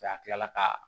a kilala ka